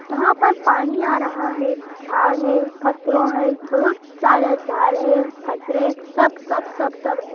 यहाँ पर पानी आ रहा है झाड़ है पत्थरों है बहुत सारे झाड़ है पथरे सब सबसब सब है।